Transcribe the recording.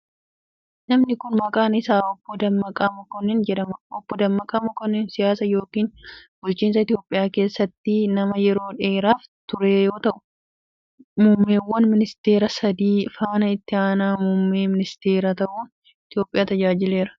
Namni kun, maqaan isaa Obboo Dammaqa Makonnin jedhama. Obbo Dammaqa Mokonnin siyaas yookkin bulchiinsa Itoophiyaa keessa nama yeroo dheeraaf ture yoo ta'u, muummeewwan ministeeraa sadi faana Itti aanaa muummee ministeeraa ta'uun Itoophiyaa tajaajileera.